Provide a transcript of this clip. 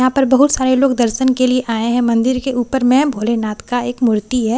यहाँ पर बहुत सारे लोग दर्शन के लिए आए हैं मंदिर के ऊपर में भोलेनाथ का एक मूर्ति है --